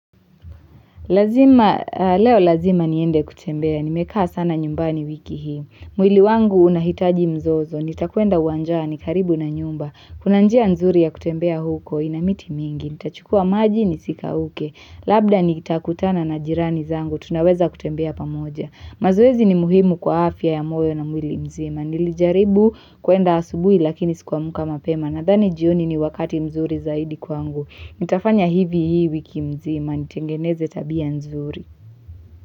Lazima, leo lazima niende kutembea. Nimekaa sana nyumbani wiki hii. Mwili wangu unahitaji mzozo. Nitakuenda uwanjani karibu na nyumba. Kuna njia nzuri ya kutembea huko. Ina miti mingi. Nitachukua maji nisikauke. Labda nitakutana na jirani zangu. Tunaweza kutembea pamoja. Mazoezi ni muhimu kwa afya ya moyo na mwili mzima. Nilijaribu kuenda asubui lakini sikuwamka mapema. Nadhani jioni ni wakati mzuri zaidi kwangu. Nitafanya hivi hii wiki mzima, nitengeneze tabia nzuri.